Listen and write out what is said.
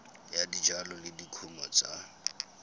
ya dijalo le dikumo tsa